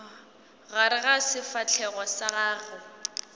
gare ga sefahlego sa gago